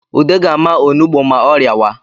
Ude ga-ama onugbu ma ọ rịawa